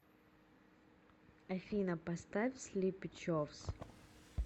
афина поставь слипи човс